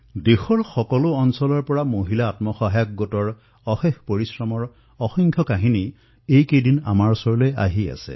দেশৰ বিভিন্ন প্ৰান্তৰ পৰা মহিলা আত্মসহায়ক গোটৰ অসংখ্য কাহিনীও আমি প্ৰত্যক্ষ কৰিবলৈ পাইছো